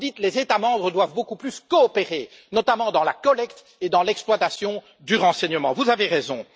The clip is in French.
Quand vous dites les États membres doivent beaucoup plus coopérer, notamment dans la collecte et dans l'exploitation du renseignement, vous avez raison.